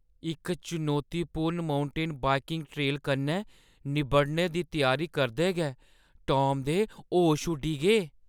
इक चुनौतीपूर्ण mountain biking trail कन्नै निब्बड़ने दी त्यारी करदे गै टॉम दे होश उड्डी गे ।